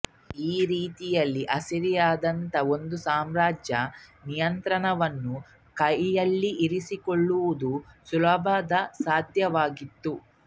ಈ ರೀತಿಯಲ್ಲಿ ಅಸಿರಿಯಾದಂಥ ಒಂದು ಸಾಮ್ರಾಜ್ಯದ ನಿಯಂತ್ರಣವನ್ನು ಕೈಲಿರಿಸಿಕೊಳ್ಳುವುದು ಸುಲಭಸಾಧ್ಯವಾಗಿತ್ತು